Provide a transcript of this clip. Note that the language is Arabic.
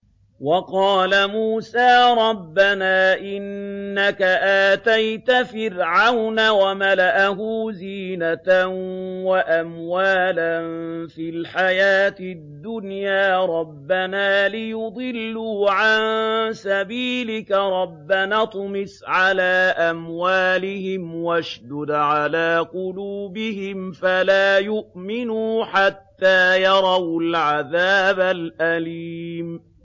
وَقَالَ مُوسَىٰ رَبَّنَا إِنَّكَ آتَيْتَ فِرْعَوْنَ وَمَلَأَهُ زِينَةً وَأَمْوَالًا فِي الْحَيَاةِ الدُّنْيَا رَبَّنَا لِيُضِلُّوا عَن سَبِيلِكَ ۖ رَبَّنَا اطْمِسْ عَلَىٰ أَمْوَالِهِمْ وَاشْدُدْ عَلَىٰ قُلُوبِهِمْ فَلَا يُؤْمِنُوا حَتَّىٰ يَرَوُا الْعَذَابَ الْأَلِيمَ